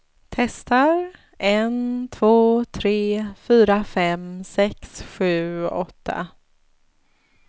Testar en två tre fyra fem sex sju åtta.